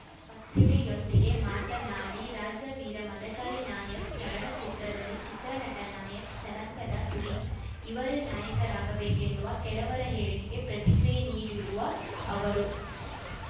ಪತ್ರಿಕೆಯೊಂದಿಗೆ ಮಾತನಾಡಿ ರಾಜವೀರ ಮದಕರಿ ನಾಯಕ್ ಚಲನಚಿತ್ರದಲ್ಲಿ ಚಿತ್ರನಟ ನಾಯಕ್ ಜನಾಂಗದ ಸುದೀಪ್‌ ಅವರೇ ನಾಯಕರಾಗಬೇಕೆನ್ನುವ ಕೆಲವರ ಹೇಳಿಕೆಗೆ ಪ್ರತಿಕ್ರಿಯೆ ನೀಡಿರುವ ಅವರು